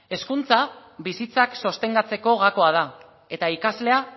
hezkuntza bizitzak sostengatzeko gakoa da eta ikaslea